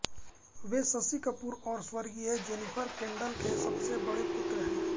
वे शशि कपूर और स्वर्गीय Jennifer Kendal के सबसे बड़े पुत्र हैं